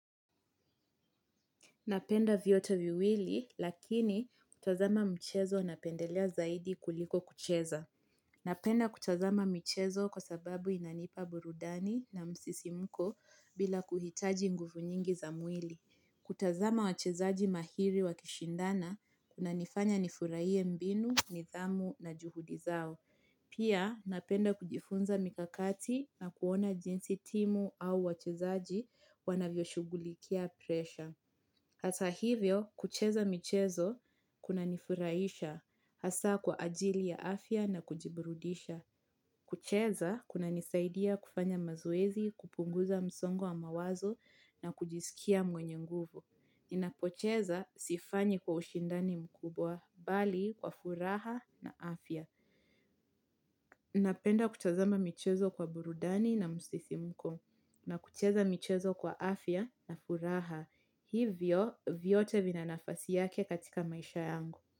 Napenda vyote viwili, lakini kutazama mchezo na pendelea zaidi kuliko kucheza. Napenda kutazama michezo kwa sababu inanipa burudani na msisi mko bila kuhitaji nguvu nyingi za mwili. Kutazama wachezaji mahiri wa kishindana, kuna nifanya nifurahie mbinu, nithamu na juhudi zao. Pia napenda kujifunza mikakati na kuona jinsi timu au wachezaji wanavyo shugulikia presha. Hata hivyo, kucheza michezo, kuna nifuraisha, hasa kwa ajili ya afya na kujiburudisha. Kucheza, kuna nisaidia kufanya mazoezi, kupunguza msongo wa mawazo na kujiskia mwenye nguvu. Ninapocheza, sifanyi kwa ushindani mkubwa, bali kwa furaha na afya. Napenda kutazama michezo kwa burudani na msisimko, na kucheza michezo kwa afya na furaha. Hivyo vyote vinanafasi yake katika maisha yangu.